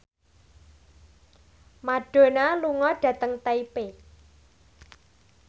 Madonna lunga dhateng Taipei